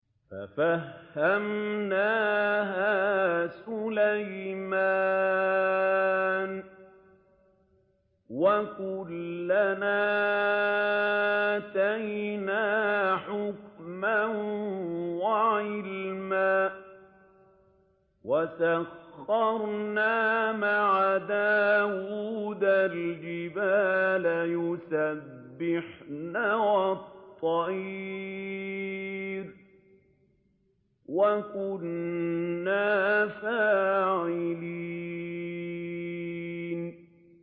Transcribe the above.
فَفَهَّمْنَاهَا سُلَيْمَانَ ۚ وَكُلًّا آتَيْنَا حُكْمًا وَعِلْمًا ۚ وَسَخَّرْنَا مَعَ دَاوُودَ الْجِبَالَ يُسَبِّحْنَ وَالطَّيْرَ ۚ وَكُنَّا فَاعِلِينَ